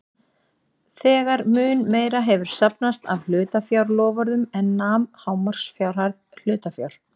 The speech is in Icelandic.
þegar mun meira hefur safnast af hlutafjárloforðum en nam hámarksfjárhæð hlutafjár.